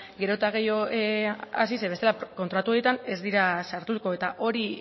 gero eta gehiago hasi zeren gero kontratu horietan ez dira sartuko eta hori